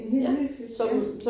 En helt ny film ja